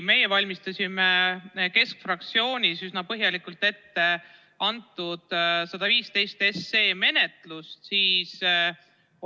Meie valmistasime Keskerakonna fraktsioonis eelnõu 115 menetlust üsna põhjalikult ette.